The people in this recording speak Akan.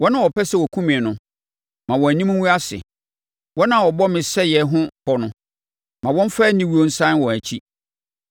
Wɔn a wɔpɛ sɛ wɔkum me no ma wɔn anim ngu ase; wɔn a wɔbɔ me sɛeɛ ho pɔ no ma wɔmfa aniwuo nsane wɔn akyi.